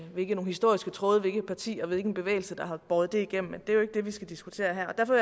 hvilke nogle historiske tråde og hvilket parti og hvilken bevægelse der har båret det igennem men det er jo ikke det vi skal diskutere her derfor